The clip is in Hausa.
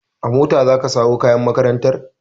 A mota za ka sawo kayan makarantar!